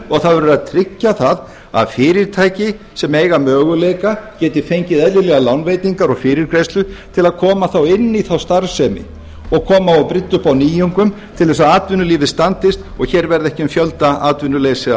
og það verður að tryggja það að fyrirtæki sem eiga möguleika geti fengið eðlilegar lánveitingar og fyrirgreiðslu til að koma þá inn í þá starfsemi og koma og brydda upp á nýjungum til þess að atvinnulífið standist og hér verði ekki um fjöldaatvinnuleysi að